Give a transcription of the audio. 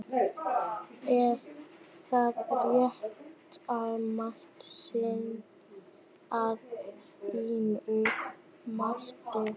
Er það réttmæt sýn að þínu mati?